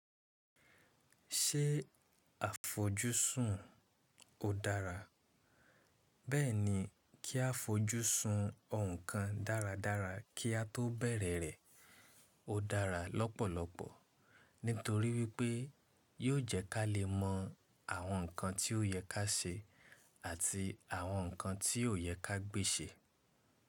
Ṣé àfojúsùn ò dára? Bẹ́ẹ̀ni, kí á fojúsùn òǹkàn dáradára kí a tó bẹ̀rẹ̀ rẹ̀ ó dára lọ́pọ̀lọpọ̀ nítorí wípé yóò jẹ́ ká lè mọ àwọn ǹkan tí ó yẹ ká ṣe àti àwọn ǹkan tí ò yẹ ká gbe sè.